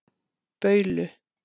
Baulu